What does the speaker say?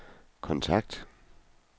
kontakt